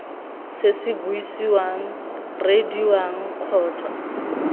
se se buisiwang reediwang kgotsa